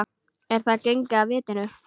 Er hann genginn af vitinu?